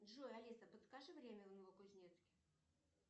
джой алиса подскажи время в новокузнецке